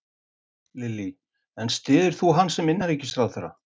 Lillý: En styður þú hann sem innanríkisráðherra?